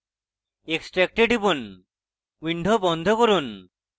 extract এ টিপুন window বন্ধ করুন